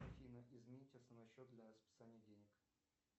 афина изменить основной счет для списания денег